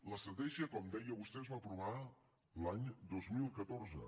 l’estratègia com deia vostè es va aprovar l’any dos mil catorze